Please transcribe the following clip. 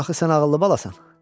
Axı sən ağıllı balasan.